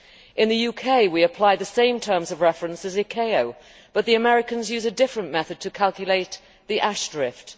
In the UK, we apply the same terms of reference as the ICAO, but the Americans use a different method to calculate the ash drift.